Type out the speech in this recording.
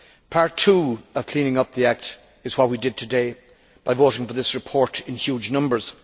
Part two of cleaning up the act is what we did today by voting for this report in huge numbers.